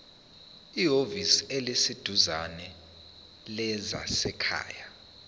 ehhovisi eliseduzane lezasekhaya